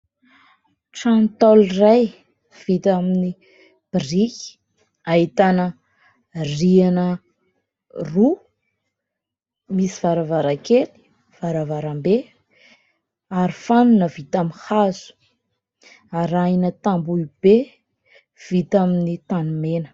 Trano Ntaolo iray vita amin'ny biriky ahitana rihana roa. Misy varavarankely, varavarambe, arofanina vita amin'ny hazo, arahina tamboho be vita amin'ny tanimena.